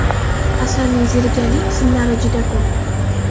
Asarning zerikarli qismlari juda ko‘p.